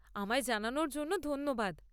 আমায় জানানোর জন্য ধন্যবাদ।